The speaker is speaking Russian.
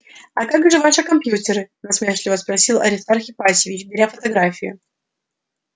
а как же ваши компьютеры насмешливо спросил аристарх ипатьевич беря фотографию